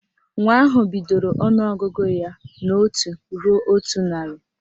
Nwa ahụ bidoro ọnụọgụgụ ya n' otu ruo otu narị